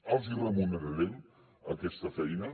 els hi remunerarem aquesta feina